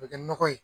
O bɛ kɛ nɔgɔ ye